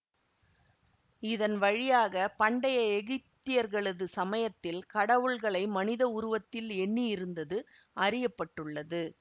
இதன் வழியாக பண்டைய எகிப்தியர்களது சமயத்தில் கடவுள்களை மனித உருவத்தில் எண்ணியிருந்தது அறிய பட்டுள்ளது